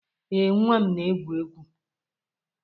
Ee, nwa m na-egwu egwu.